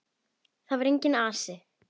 Þar var enginn asi.